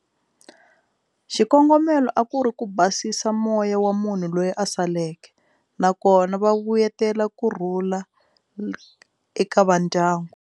Xikongomelo a ku ri ku basisa moya wa munhu loyi a saleke nakona va vuyetela kurhula eka va ndyangu.